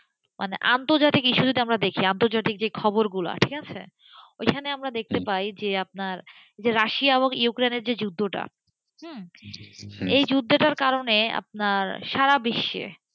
মানে আন্তর্জাতিক issue যেটা দেখি আন্তর্জাতিক যে খবরগুলো ঠিক আছে, ওখানে আমরা দেখতে পাই যে আপনার রাশিয়া এবং ইউক্রেনের যে যুদ্ধটা, এই জুতোটার কারণে আপনার সারাবিশ্বে,